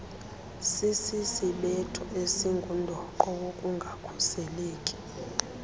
sisisibetho esingundoqo wokungakhuseleki